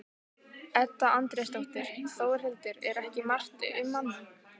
Edda Andrésdóttir: Þórhildur, er ekki margt um manninn?